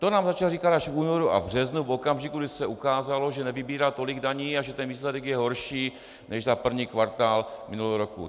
To nám začal říkat až v únoru a v březnu, v okamžiku, kdy se ukázalo, že nevybírá tolik daní a že ten výsledek je horší než za první kvartál minulého roku.